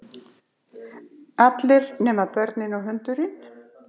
Allir nema börnin og hundurinn.